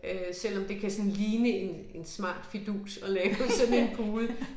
Øh selvom det kan sådan ligne en en smart fidus at lave sådan en pude